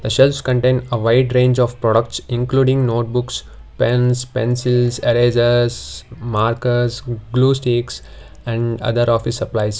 shelves contain a wide range of products including notebooks pens pencils erasers markers glue sticks and other of a supplies.